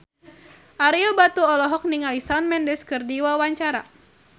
Ario Batu olohok ningali Shawn Mendes keur diwawancara